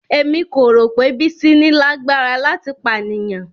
Emi ko ro pe Bisi ni lagbara lati paniyan.